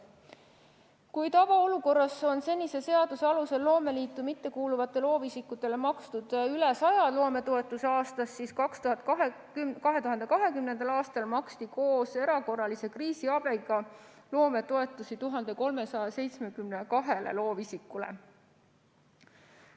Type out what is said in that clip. Kui tavaolukorras on senise seaduse alusel loomeliitu mittekuuluvatele loovisikutele makstud üle 100 loometoetuse aastas, siis 2020. aastal maksti koos erakorralise kriisiabiga loometoetusi 1372 loovisikule.